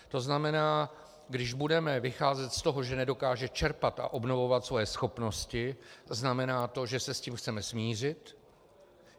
To znamená, když budeme vycházet z toho, že nedokáže čerpat a obnovovat svoje schopnosti, znamená to, že se s tím chceme smířit?